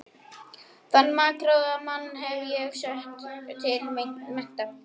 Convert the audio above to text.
Þann makráða mann hef ég sett til mennta!